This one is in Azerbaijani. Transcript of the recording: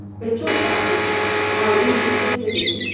Və çox sakit, aydın bir səslə dedi: